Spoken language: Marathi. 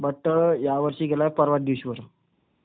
बट, यावर्षी गेलाय परवा दिवशी वर.